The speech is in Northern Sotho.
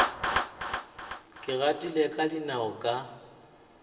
ke gatile ka dinao ka